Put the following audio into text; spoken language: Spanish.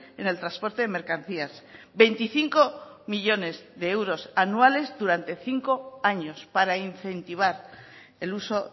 en el transporte de mercancías veinticinco millónes de euros anuales durante cinco años para incentivar el uso